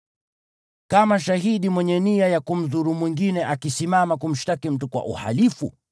Kama shahidi mwenye nia ya kumdhuru mwingine akisimama kumshtaki mtu kwa uhalifu,